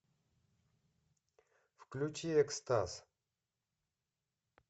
включи экстаз